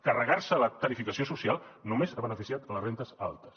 carregar se la tarifació social només ha beneficiat les rendes altes